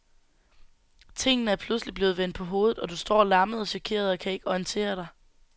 Tingene er pludselig blevet vendt på hovedet, og du står lammet og chokeret og kan ikke orientere dig.